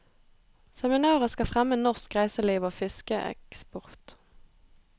Seminaret skal fremme norsk reiseliv og fiskeeksport.